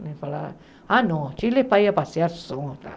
Ele fala, ah, não, Chile é para ir a passear.